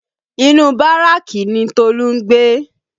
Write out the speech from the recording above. Inu Báràkì ni Tolu ń gbé